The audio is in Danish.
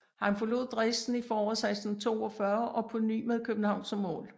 Han forlod Dresden i foråret 1642 og på ny med København som mål